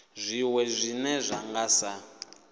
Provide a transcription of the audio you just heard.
zwiwe zwine zwa nga sa